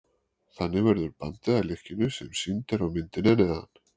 þannig verður bandið að lykkjunni sem sýnd er á myndinni að neðan